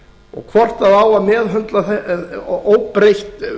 og hvort það á að meðhöndla óbreytt